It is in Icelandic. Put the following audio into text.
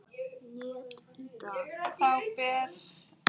net í dag?